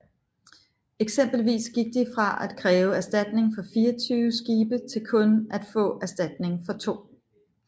Eksempelvis gik de fra at kræve erstatning for 24 skibe til kun at få erstatning for to